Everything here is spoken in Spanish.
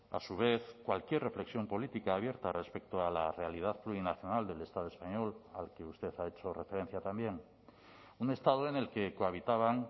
a su vez cualquier reflexión política abierta respecto a la realidad plurinacional del estado español al que usted ha hecho referencia también un estado en el que cohabitaban